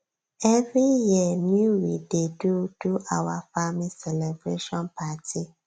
every year new we dey do do our farming celebration party